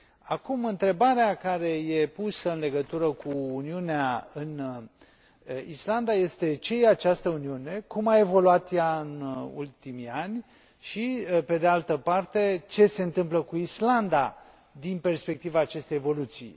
Acum, întrebarea care e pusă în legătură cu Uniunea în Islanda este ce e această Uniune, cum a evoluat ea în ultimii ani și, pe de altă parte, ce se întâmplă cu Islanda, din perspectiva acestei evoluții?.